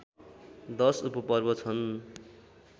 १० उपपर्व छन्